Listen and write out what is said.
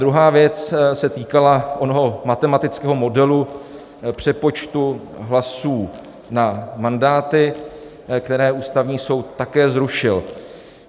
Druhá věc se týkala onoho matematického modelu přepočtu hlasů na mandáty, které Ústavní soud také zrušil.